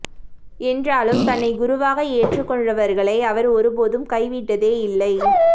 என்றாலும் தன்னை குருவாக ஏற்றுக்கொண்டவர்களை அவர் ஒரு போதும் கை விட்டதே இல்லை